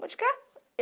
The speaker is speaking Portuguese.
Mão de cá.